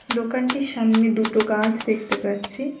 দোকানটির সামনে দুটো গাছ দেখতে পাচ্ছি।